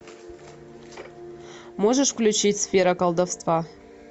можешь включить сфера колдовства